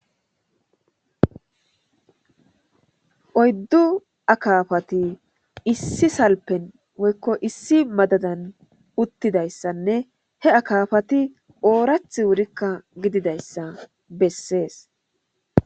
oyddu akaafati issi salpen woykko issi madadan uttidayssanne he akaafati oorath wurikka gididayssa bessees.